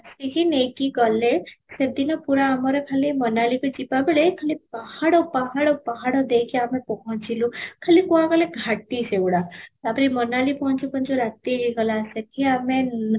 ଆସିକି ନେଇକି ଗଲେ, ସେଦିନ ପୁରା ଆମର ଖାଲି ମୋନାଲିକୁ ଯିବାବେଳେ ଖାଲି ପାହାଡ଼ ପାହାଡ଼ ପାହାଡ଼ ଦେଇକି ଆମେ ପହଞ୍ଚିଲୁ, ଖାଲି କ, ଣ କହିଲ ଘାଟି ସେ ଗୁଡା ତା'ପରେ ମୋନାଲି ପହଞ୍ଚୁ ପହଞ୍ଚୁ ରାତି ହେଇଗଲା ସେଠି ଆମେ ଆଁ